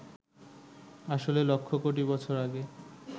আসলে লক্ষ কোটি বছর আগে